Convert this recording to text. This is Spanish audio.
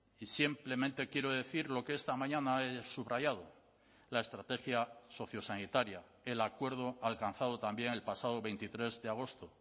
y simplemente quiero decir lo que esta mañana he subrayado la estrategia sociosanitaria el acuerdo alcanzado también el pasado veintitrés de agosto